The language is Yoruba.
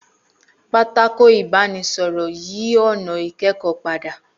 Pátákó ibanisoro yí ònà ikẹkọ pada